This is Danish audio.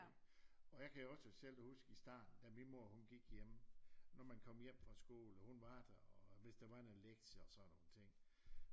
Og jeg kan også selv huske i starten da min mor hun gik hjemme når man kom hjem fra skole og hun var der og hvis der var nogle lektier og sådan nogle ting